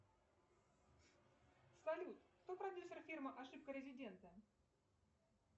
салют кто продюсер фильма ошибка резидента